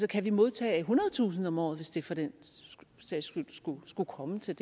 kan vi modtage ethundredetusind om året hvis det for den sags skyld skulle komme til